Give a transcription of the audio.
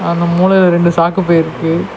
அந்த மூலைல ரெண்டு சாக்கு பை இருக்கு.